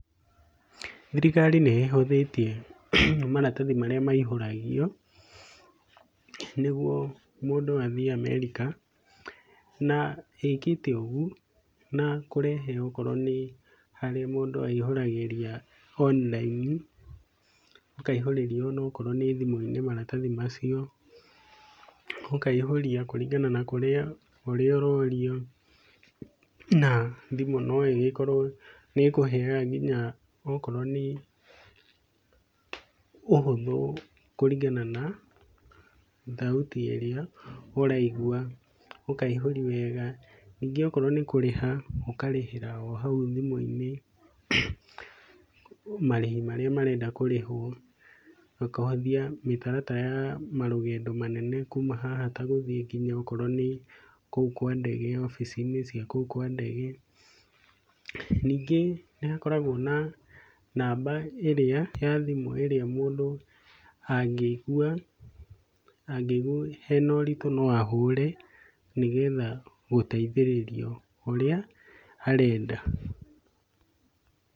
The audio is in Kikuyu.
Thirikari nĩ ĩhũthĩtie maratathi marĩa maihũragio, nĩguo mũndũ athiĩ Amerika, na ĩkĩte ũguo na kũrehe okorwo nĩ harĩa mũndũ aihũragĩria online, ũkaihũrĩria okorwo nĩ thimũ-inĩ maratathi macio, ũkaihũria kũringana na kũrĩa, ũrĩa ũrorio na thimu noĩgĩkorwo nĩ ĩkũheyaga okorwo nĩ, ũhũthũ kũringana na thauti ĩrĩa ũraigua, ũkaihũria wega, ningĩ okorwo nĩ kũrĩha, ũkarĩhĩra o hau thimu-inĩ, marĩhi marĩa marenda kũrĩhwo, ũkĩenda kũrĩhwo ũkahũthia mĩtaratara ta ya marũgendo manene kuuma haha tagũthiĩ okorwo nĩ kũu kwa ndege, wabici-inĩ cia kũu kwa ndege, ningĩ nĩ kahoragwo na namba ĩrĩa ya thimũ ĩrĩa mũndũ angĩigua hena ũritũ no ahũre, nĩgetha gũteithĩrĩrio ũrĩa arenda.